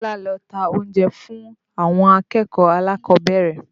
Bọ́lá ló ń ta oúnjẹ fún àwọn akẹ́kọ̀ọ́ alákọ̀ọ́bẹ̀rẹ̀